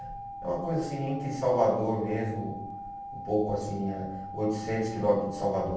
É uma coisa assim, entre Salvador mesmo, um pouco assim, a oitocentos quilômetros de Salvador.